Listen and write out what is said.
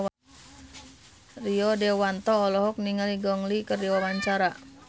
Rio Dewanto olohok ningali Gong Li keur diwawancara